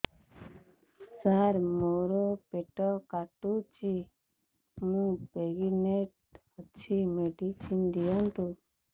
ସାର ମୋର ପେଟ କାଟୁଚି ମୁ ପ୍ରେଗନାଂଟ ଅଛି ମେଡିସିନ ଦିଅନ୍ତୁ